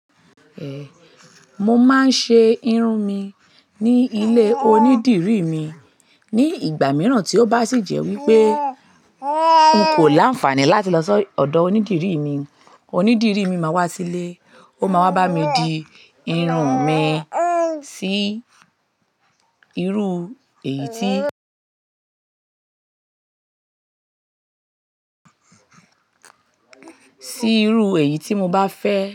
Ehn, mo máa ń ṣe irun mi ní ilé onídìrí mi. Ni ìgbà mìíràn tí ó bá sì jẹ́ wípé n kò l'áǹfààní láti lọ si ódò onídìrí mi, onídìrí mi máa wá sílé, ó máa wá bá mi di irun mi sí irú èyí tí, sí irú èyí tí mo bá fẹ́